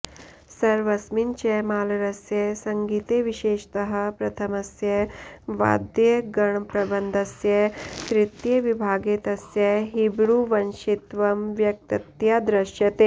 सर्वस्मिन् च मालरस्य सङ्गीते विशेषतः प्रथमस्य वाद्यगणप्रबन्धस्य तृतीये विभागे तस्य हिब्रुवंशित्वं व्यक्ततया दृश्यते